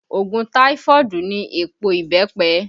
Òògùn taifoodu ni èèpo ìbẹ́pẹ